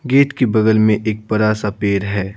Gate के बगल में एक बड़ा सा पेड़ है।